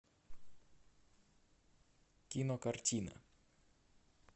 кинокартина